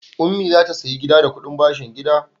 Ummi za ta sayi gida da kuɗin bashin gida.